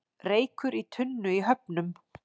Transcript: Reykur í tunnu í Höfnum